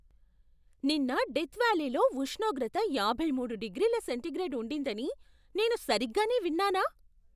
నిన్న డెత్ వ్యాలీలో ఉష్ణోగ్రత యాభై మూడు డిగ్రీల సెంటీగ్రేడ్ ఉండిందని నేను సరిగ్గానే విన్నానా?